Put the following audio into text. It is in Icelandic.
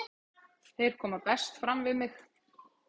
Þeir koma best fram við mig.